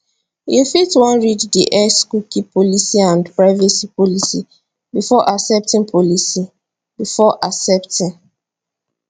you fit wan read di xcookie policyandprivacy policybefore accepting policybefore accepting